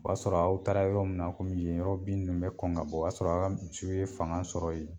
O b'a sɔrɔ aw taara yɔrɔ mun na kɔmi ye yɔrɔ bin nunnu mi kɔn ka bɔ, o y'a sɔrɔ a ka misiw ye fanga sɔrɔ ye